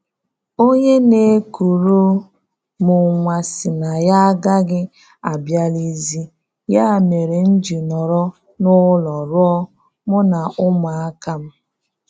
Onye na-ekuru m nwa sị na ya agaghị abịalizi, ya mere m ji nọrọ n'ụlọ rụọ mụ na ụmụaka m